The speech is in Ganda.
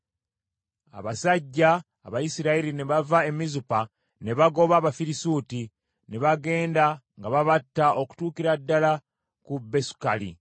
Abasajja Abayisirayiri ne bava e Mizupa ne bagoba Abafirisuuti, ne bagenda nga babatta okutuukira ddala ku Besukali.